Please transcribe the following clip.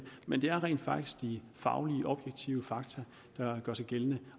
men det er rent faktisk de faglige objektive fakta der gør sig gældende